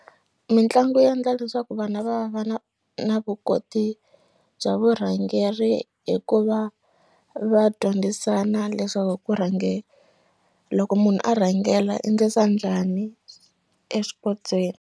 Mitlangu ya ndla leswaku vana va va na na vukoti bya vurhangeri hi ku va va dyondzisana leswaku ku rhange loko munhu a rhangela i ndlisa njhani exipotsweni.